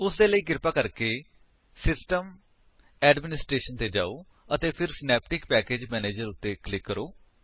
ਉਸਦੇ ਲਈ ਕਿਰਪਾ ਕਰਕੇ system ਗਟੈਡਮਿਨਿਸਟ੍ਰੇਸ਼ਨ ਤੇ ਜਾਓ ਅਤੇ ਫਿਰ ਸਿਨੈਪਟਿਕ ਪੈਕੇਜ ਮੈਨੇਜਰ ਉੱਤੇ ਕਲਿਕ ਕਰੋ